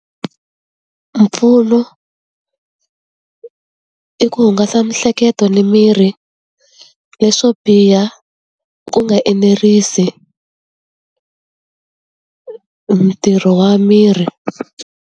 Mpfuno i ku hungasa miehleketo ni miri. Leswo biha ku nga enerisi ntirho wa miri.